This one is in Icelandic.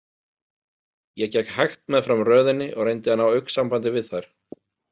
Ég gekk hægt meðfram röðinni og reyndi að ná augnsambandi við þær.